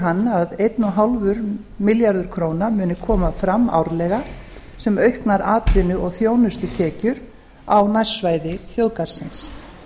hann að einn og hálfur milljarður króna muni koma fram árlega sem auknar atvinnu og þjónustutekjur á nærsvæði þjóðgarðsins